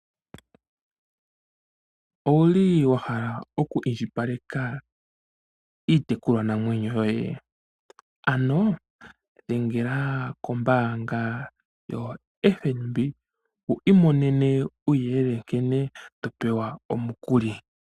Owuli wahala oku indji paleka iitekulwa namwenyo yoye? Ano dhengela kombaanga ya FNB wu imonene uuyelele nkene to pewa omukuli.